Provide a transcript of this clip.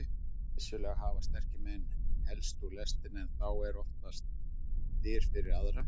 Vissulega hafa sterkir menn hellst úr lestinni en þá opnast dyr fyrir aðra.